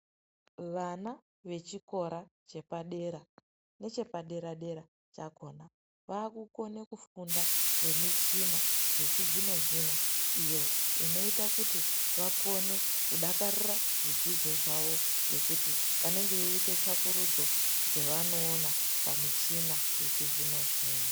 Vana vechikora chepadera nechepaderadera chakona vaakukona kufunda ngemichina yechizvino zvino iyo inoita kuti vakone kudakarira zvidzidzo zvao ngekuti vanenge veiita tsvakurudzo dzevanoona pamichina yechizvino zvino.